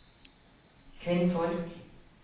kvinnfolk